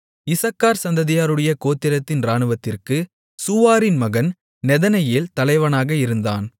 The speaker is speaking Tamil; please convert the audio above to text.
இசக்கார் சந்ததியாருடைய கோத்திரத்தின் இராணுவத்திற்குச் சூவாரின் மகன் நெதனெயேல் தலைவனாக இருந்தான்